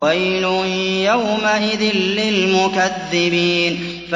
وَيْلٌ يَوْمَئِذٍ لِّلْمُكَذِّبِينَ